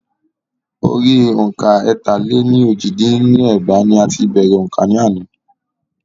Orí òǹkà ẹ̀ta-lé-ní-ojì dín ní ẹgbàá ní a ti bèrè òǹkà ni ana.